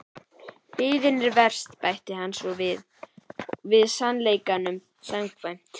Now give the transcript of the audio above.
Biðin er verst bætti hann svo við sannleikanum samkvæmt.